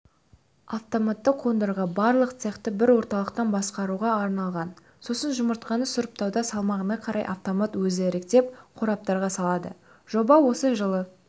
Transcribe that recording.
автоматты қондырғы барлық цехты бір орталықтан басқаруға арналған сосын жұмыртқаны сұрыптауда салмағына қарай автомат өзі іріктеп қораптарға салады жоба осы жылы